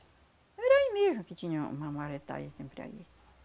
Era aí mesmo que tinha uma sempre aí.